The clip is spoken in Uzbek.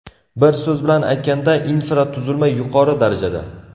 Bir so‘z bilan aytganda, infratuzilma yuqori darajada.